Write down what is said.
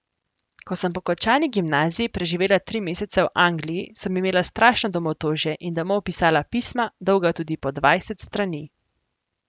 Ko sem po končani gimnaziji preživela tri mesece v Angliji, sem imela strašno domotožje in domov pisala pisma, dolga tudi po dvajset strani.